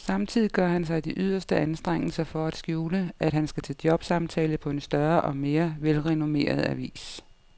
Samtidig gør han sig de yderste anstrengelser for at skjule, at han skal til jobsamtale på en større og mere velrenommeret avis.